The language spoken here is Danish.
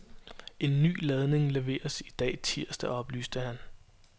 En ny ladning leveres i dag tirsdag, oplyste han.